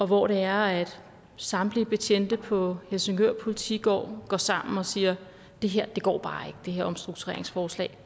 hvor det er at samtlige betjente på politigården går sammen og siger det her omstruktureringsforslag